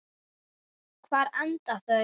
Hvar enda þau?